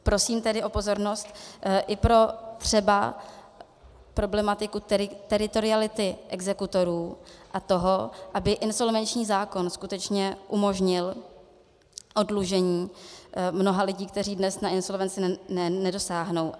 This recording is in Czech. Prosím tedy o pozornost i pro třeba problematiku teritoriality exekutorů a toho, aby insolvenční zákon skutečně umožnil oddlužení mnoha lidí, kteří dnes na insolvenci nedosáhnou.